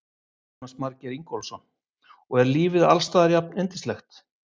Jónas Margeir Ingólfsson: Og er lífið alls staðar jafnyndislegt?